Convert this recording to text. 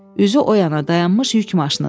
Üzü o yana dayanmış yük maşınıdır.